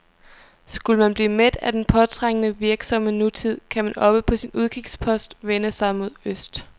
Skulle man blive mæt af den påtrængende, virksomme nutid, kan man oppe på sin udkigspost vende sig mod øst.